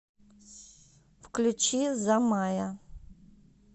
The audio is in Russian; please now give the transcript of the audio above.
включи замая